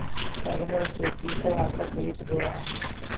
तरह चौकी पर आकर बैठ गया